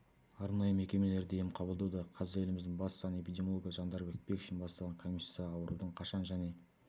арнайы мекемелерде ем қабылдауда қазір еліміздің бас санэпидемиологы жандарбек бекшин бастаған комиссия аурудың қашан және